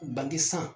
Bange san